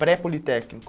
Pré-politécnico.